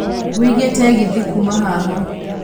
wiĩge tegithi kuuma haha